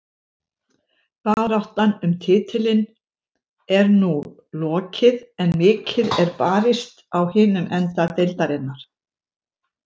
Baráttan um titilinn er nú lokið en mikið er barist á hinum enda deildarinnar.